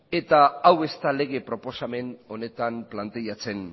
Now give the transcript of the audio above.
hau ez da lege proposamen honetan planteatzen